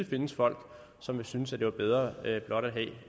findes folk som synes være bedre blot at